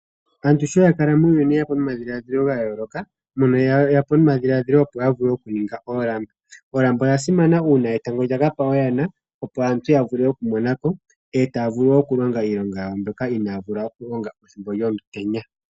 Aantu sho ya kala muuyuni ye ya po omadhiladhilo ga yooloka mono ye yapo nomadhiladhilo opo ya vule oku ninga oolamba. Olamba ota simana una etango lyaka pa oyana, opo aantu ya vule oku monako e taa vulu oku longa iilonga yawo mbyoka inaavula oku longa ethimbo lyomutenya.